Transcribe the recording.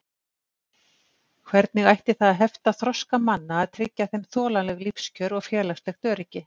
Hvernig ætti það að hefta þroska manna að tryggja þeim þolanleg lífskjör og félagslegt öryggi?